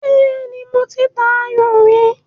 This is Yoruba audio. Bẹ́ẹ́nì, mo ta ayò rí.